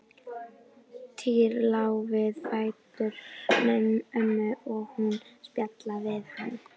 Týri lá við fætur ömmu og hún spjallaði við hann.